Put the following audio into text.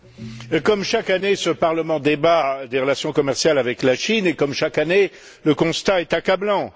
Monsieur le Président, comme chaque année, ce Parlement débat des relations commerciales avec la Chine et, comme chaque année, le constat est accablant.